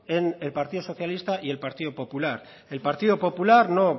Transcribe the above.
en el partido socialista y el partido popular el partido popular no